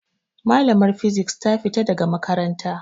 Malamar fisik ta fita daga makaranta.